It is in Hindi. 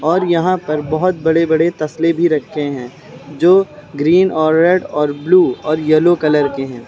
और यहां पर बहोत बड़े बड़े लसले भी रखते हैं जो ग्रीन और रेड और ब्लू और येलो कलर के हैं।